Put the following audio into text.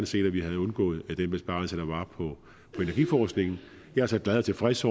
set at vi havde undgået den besparelse der var på energiforskningen jeg er så glad og tilfreds